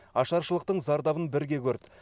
ашаршылықтың зардабын бірге көрді